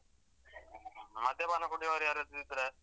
ಮದ್ಯಪಾನ ಕುಡಿಯೋರ್ ಯಾರಾದ್ರೂ ಇದ್ರ?